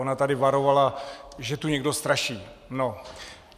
Ona tady varovala, že tu někdo straší.